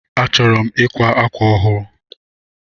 Achọrọ m ikwa ákwà ọhụụ